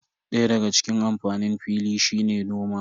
Daya daga cikin amfanin fili shine noma.